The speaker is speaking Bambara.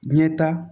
Ɲɛta